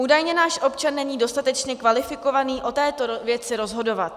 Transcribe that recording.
Údajně náš občan není dostatečně kvalifikovaný o této věci rozhodovat.